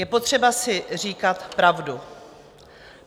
Je potřeba si říkat pravdu.